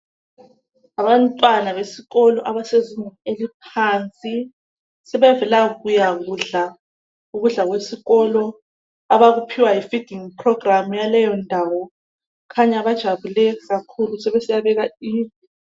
Abantwana besikolo abasezingeni eliphansi sebevela kuyakudla ukudla kwesikolo abakuphiwa yi feeding program yaleyondawo kukhanya bajabule kakhulu sebesiyabeka.